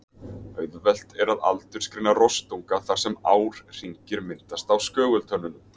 Auðvelt er að aldursgreina rostunga þar sem árhringir myndast á skögultönnunum.